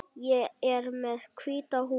Ég er með hvíta húfu.